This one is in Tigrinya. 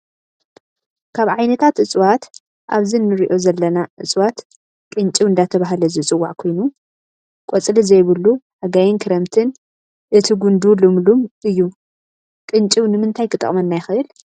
ካብ ዓይነታት እፅዋት ኣብዚ እንሪኦ ዘለና እፅዋት ቅንጭብ እንዳተበሃለ ዝፅዋዕ ኮይኑ ቆፅሊ ዘይብሉ ሓጋይን ክረምትን እቲ ጉንዱ ልምሉም እዩ ቅንጭብ ንምታይ ይጠቅመና ይክእል ?